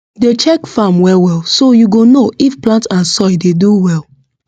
dey check farm well well so you go know if plant and soil dey do well